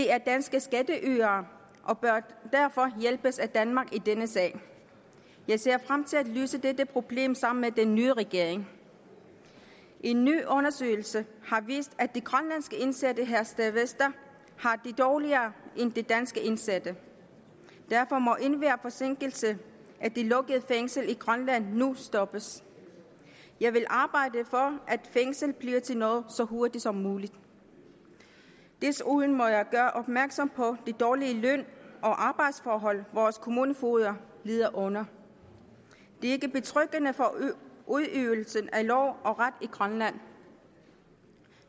er danske skatteydere og bør derfor hjælpes af danmark i denne sag jeg ser frem til at løse dette problem sammen med den nye regering en ny undersøgelse har vist at de grønlandske indsatte i herstedvester har det dårligere end de danske indsatte derfor må enhver forsinkelse af det lukkede fængsel i grønland nu stoppes jeg vil arbejde for at fængslet bliver til noget så hurtigt som muligt desuden må jeg gøre opmærksom på den dårlige løn og arbejdsforhold vores kommunefogder lider under det er ikke betryggende for udøvelsen af lov og ret i grønland